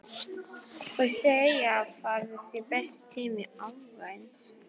Þau segja að það sé besti tími ársins.